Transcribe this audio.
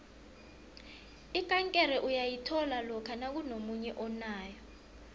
ikankere uyayithola lokha nakunomunye onayo